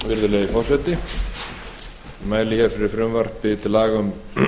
virðulegi forseti ég mæli hér fyrir frumvarpi til laga um